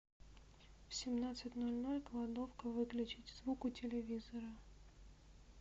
в семнадцать ноль ноль кладовка выключить звук у телевизора